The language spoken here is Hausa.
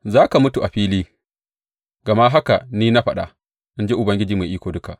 Za ka mutu a fili, gama haka ni na faɗa, in ji Ubangiji Mai Iko Duka.